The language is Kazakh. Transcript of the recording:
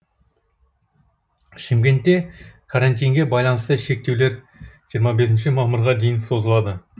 шымкентте карантинге байланысты шектеулер жиырма бесінші мамырға дейін созылады